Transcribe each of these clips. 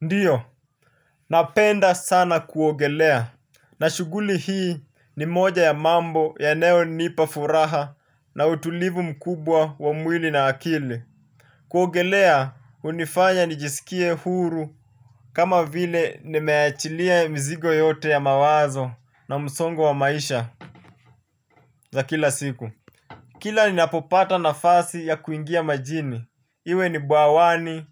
Ndiyo. Napenda sana kuogelea na shughuli hii ni moja ya mambo yanayo nipa furaha na utulivu mkubwa wa mwili na akili. Kuogelea hunifanya nijisikie huru. Kama vile nimeachilia mizigo yote ya mawazo na msongo wa maisha za kila siku. Kila ninapopata nafasi ya kuingia majini, iwe ni bwawani,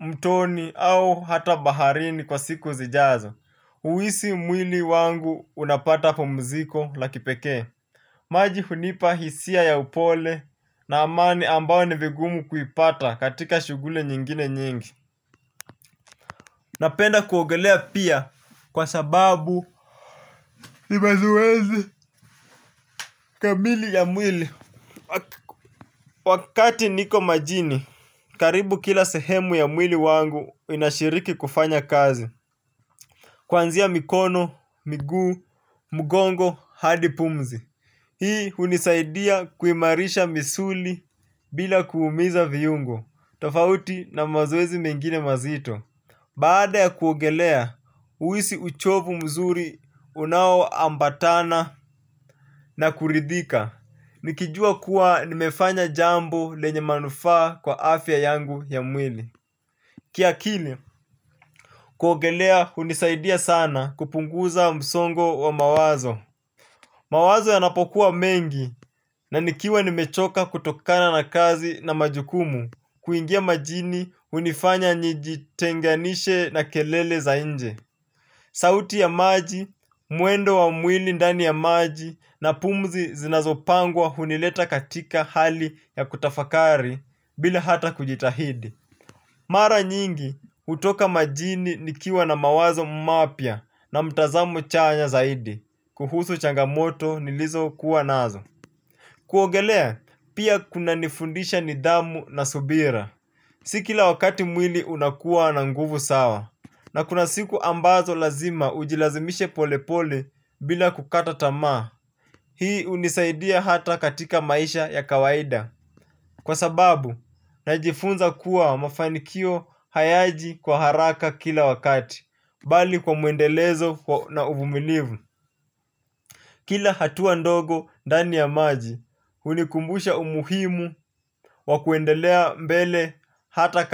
mtoni au hata baharini kwa siku zijazo. Huhisi mwili wangu unapata pumziko la kipekee. Maji hunipa hisia ya upole na amani ambao ni vigumu kuipata katika shughuli nyingine nyingi. Napenda kuogelea pia kwa sababu ni mazoezi kamili ya mwili. Wakati niko majini, karibu kila sehemu ya mwili wangu inashiriki kufanya kazi. Kuanzia mikono, miguu, mgongo, hadi pumzi. Hii hunisaidia kuimarisha misuli bila kuumiza viungo, tofauti na mazoezi mengine mazito. Baada ya kuogelea, huhisi uchovu mzuri unao ambatana na kuridhika. Nikijua kuwa nimefanya jambo lenye manufaa kwa afya yangu ya mwili. Kiakili kuogelea hunisaidia sana kupunguza msongo wa mawazo. Mawazo yanapokuwa mengi na nikiwa nimechoka kutokana na kazi na majukumu kuingia majini hunifanya nijitenganishe na kelele za inje. Sauti ya maji, mwendo wa mwili ndani ya maji na pumzi zinazo pangwa hunileta katika hali ya kutafakari bila hata kujitahidi. Mara nyingi hutoka majini nikiwa na mawazo mapya na mtazamo chanya zaidi kuhusu changamoto nilizo kuwa nazo. Kuogelea pia kuna nifundisha nidhamu na subira. Si kila wakati mwili unakuwa na nguvu sawa. Na kuna siku ambazo lazima ujilazimishe polepole bila kukata tamaa. Hii hunisaidia hata katika maisha ya kawaida kwa sababu, najifunza kuwa mafanikio hayaji kwa haraka kila wakati bali kwa muendelezo na uvumilivu. Kila hatua ndogo ndani ya maji hunikumbusha umuhimu wa kuendelea mbele hata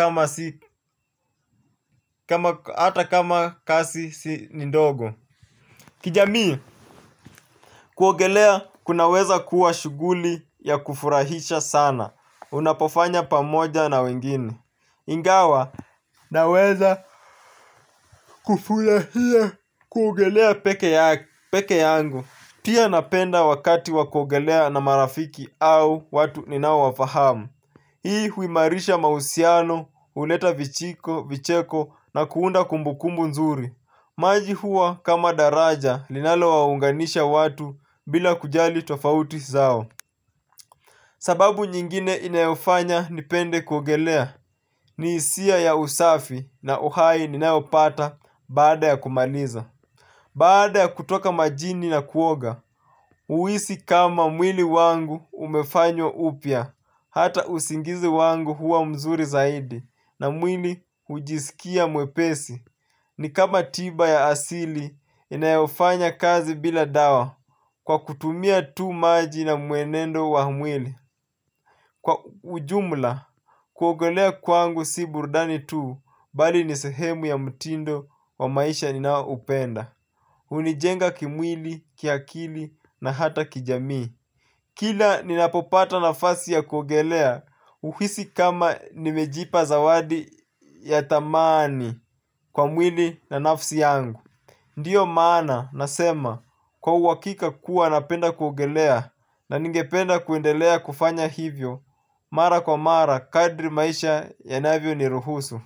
kama kazi si ni ndogo. Kijamii, kuogelea kunaweza kuwa shughuli ya kufurahisha sana unapofanya pamoja na wengine. Ingawa naweza kufurahia kuogelea peke yangu. Pia napenda wakati wa kuogelea na marafiki au watu ninawafahamu. Hii huimarisha mahusiano, huleta vijiko, vicheko na kuunda kumbukumbu nzuri. Maji hua kama daraja linalo waunganisha watu bila kujali tofauti zao. Sababu nyingine inayofanya nipende kuogelea ni hisia ya usafi na uhai ninaopata baada ya kumaliza. Baada ya kutoka majini na kuoga, huhisi kama mwili wangu umefanywa upya. Hata usingizi wangu huwa mzuri zaidi na mwili hujisikia mwepesi. Ni kama tiba ya asili inayofanya kazi bila dawa kwa kutumia tu maji na muenendo wa mwili. Kwa ujumla, kuogelea kwangu si burudani tuu bali ni sehemu ya mtindo wa maisha ninaoupenda hunijenga kimwili, kiakili na hata kijamii. Kila ninapopata nafasi ya kuogelea uhisi kama nimejipa zawadi ya thamani kwa mwili na nafsi yangu. Ndiyo maana nasema kwa uhakika kuwa napenda kuogelea na ningependa kuendelea kufanya hivyo mara kwa mara kadri maisha yanavyoniruhusu.